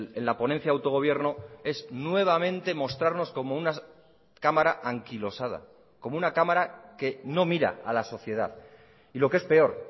en la ponencia de autogobierno es nuevamente mostrarnos como una cámara anquilosada como una cámara que no mira a lasociedad y lo que es peor